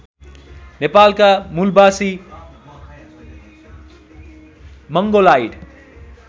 नेपालका मूलबासी मंगोलाइड